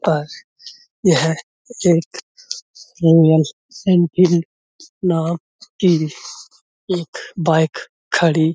पास यह एक यूनियन नाम की एक बाईक खड़ी --